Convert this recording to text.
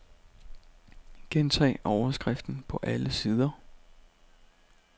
Gentag overskriften på alle sider.